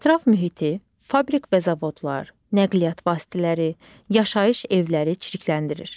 Ətraf mühiti, fabrik və zavodlar, nəqliyyat vasitələri, yaşayış evləri çirkləndirir.